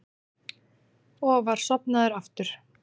Og var sofnaður aftur.